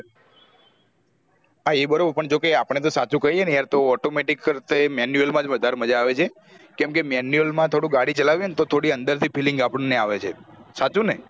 હા એ બરોબર પણ જો કે આપણ ને તો સાચું કહીએ ને યાર તો automatic કરતે manual માં જ વધારે છે કેમ કે manual માં થોડું ગાડી ચલાવીએ ને તો થોડી અંદરથી feeling આપણ ને આવે છે સાચું ને